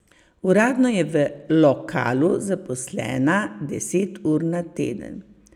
Uradno je v lokalu zaposlena deset ur na teden.